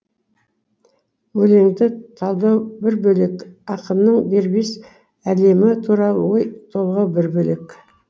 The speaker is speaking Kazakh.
өлеңді талдау бір бөлек ақынның дербес әлемі туралы ой толғау бір бөлек